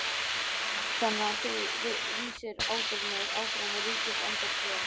Þóra Kristín: Þannig að þú vísar ábyrgðinni áfram á Ríkisendurskoðun?